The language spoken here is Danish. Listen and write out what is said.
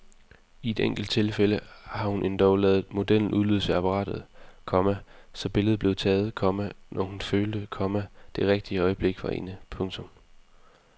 I enkelte tilfælde har hun endog ladet modellen udløse apparatet, komma så billedet blev taget, komma når hun følte, komma det rigtige øjeblik var inde. punktum